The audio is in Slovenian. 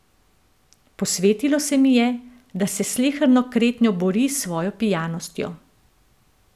Posvetilo se mi je, da se s sleherno kretnjo bori s svojo pijanostjo.